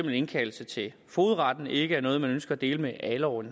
en indkaldelse til fogedretten ikke er noget man ønsker at dele med alle og